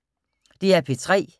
DR P3